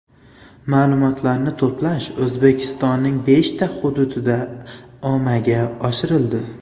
Ma’lumotlarni to‘plash O‘zbekistonning beshta hududida amaga oshirildi.